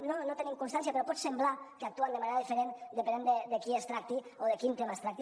no en tenim constància però pot semblar que actuen de manera diferent depenent de qui es tracti o de quin tema es tracti